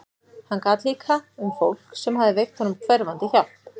Hann gat líka um fólk sem hafði veitt honum hverfandi hjálp.